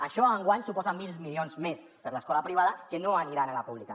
això enguany suposa mil milions més per a l’escola privada que no aniran a la pública